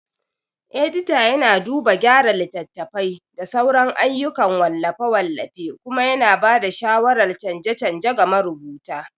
Edita yana duba gyara littattafai da sauran ayyukan wallafe-wallafe kuma yana ba da shawarar canje-canje ga marubuta.